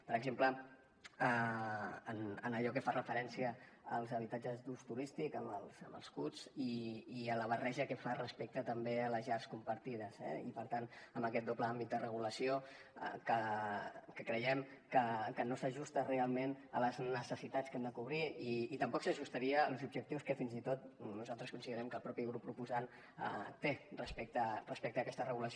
per exemple en allò que fa referència als habitatges d’ús turístic amb els huts i en la barreja que fa respecte també a les llars compartides eh i per tant amb aquest doble àmbit de regulació que creiem que no s’ajusta realment a les necessitats que hem de cobrir i tampoc s’ajustaria als objectius que fins i tot nosaltres considerem que el mateix grup proposant té respecte a aquesta regulació